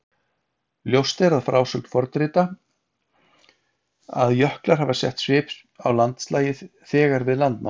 Ljóst er af frásögn fornrita að jöklar hafa sett svip á landslagið þegar við landnám.